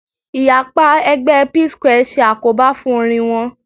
Ìyapa ẹgbẹ́ Psquare ṣe àkóbá fún orin wọn